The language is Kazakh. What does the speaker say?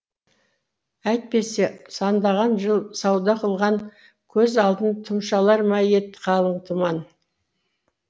әйтпесе сандаған жыл сауда қылған көз алдынтұмшалар ма ед қалың тұман